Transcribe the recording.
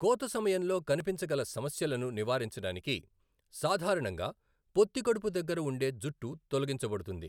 కోత సమయంలో కనిపించగల సమస్యలను నివారించడానికి సాధారణంగా పొత్తికడుపు దగ్గర ఉండే జుట్టు తొలగించబడుతుంది.